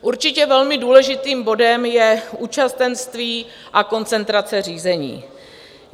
Určitě velmi důležitým bodem je účastenství a koncentrace řízení.